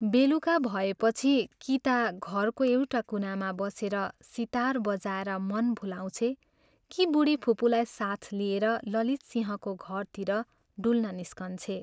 बेलुका भएपछि कि ता घरको एउटा कुनामा बसेर सितार बजाएर मन भुलाउँछे कि बूढीफुपूलाई साथ लिएर ललितसिंहको घरतिर डुल्न निस्कन्छे।